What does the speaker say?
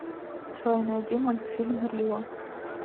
джой найди мультфильм рио